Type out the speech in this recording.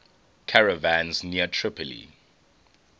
caravans near tripoli